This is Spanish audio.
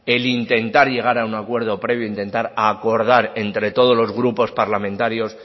el intentar llegar a un acuerdo previo intentar acordar entre todos los grupos parlamentarios